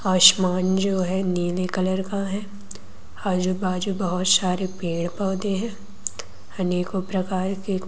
आसमान जो है नीले कलर का है आज बाजू बहोत सारे पेड़ पौधे हैं अनेकों प्रकार के--